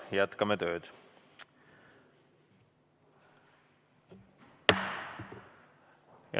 Jätkame tööd.